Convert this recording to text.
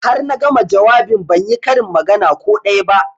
Har na gama jawabin ban yi karin magana ko daya ba